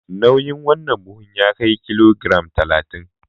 Nauyin wannan buhun ya kai kilogiram talatin.